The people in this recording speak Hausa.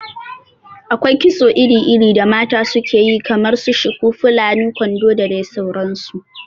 Akwai kitso iri iri da mata su ke yi kamar su shuku, fulani, kwandon da dai sauran su